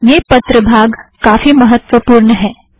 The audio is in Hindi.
यह पत्र भाग काफ़ी महत्त्वपूर्ण है